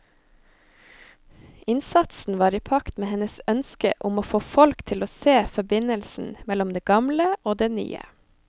Innsatsen var i pakt med hennes ønske om å få folk til å se forbindelsen mellom det gamle og det nye.